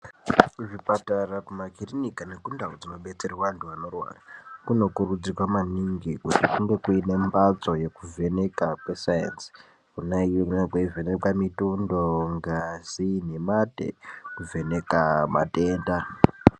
Kuzvipatara, kumakirinika nekundau dzinodetserwa antu anorwara kunorudzirwa maningi kuti kunge kune mphatso yekuvheneka kwesainzi kwona iyoyo kunenge kweivhenekwa mitundo, ngazi nemate kuvheneka matenda.